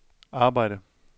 arbejde